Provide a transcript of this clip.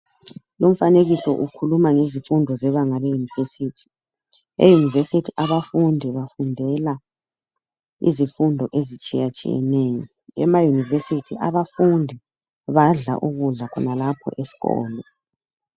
Lumfanekiso ukhuluma ngezifundo zebanga le university. E university abafundi bafundela izifundo ezitshiyatshiyeneyo, ema university abafundi badla ukudla khonalapho esikolo.